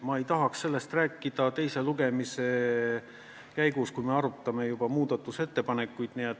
Ma ei tahaks sellest rääkida teise lugemise käigus, kui me arutame juba muudatusettepanekuid.